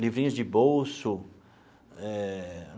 Livrinhos de bolso eh.